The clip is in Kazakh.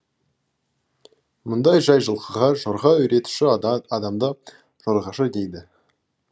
мұндай жай жылқыға жорға үйретуші адамды жорғашы дейді